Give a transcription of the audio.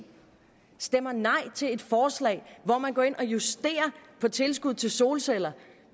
stemmer nej til et forslag hvor man går ind og justerer på tilskud til solceller